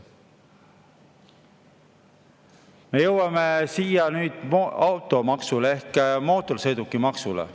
Nüüd jõuame automaksu ehk mootorsõidukimaksu juurde.